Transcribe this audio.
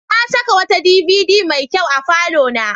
Na saka wata DVD mai kyau a falona.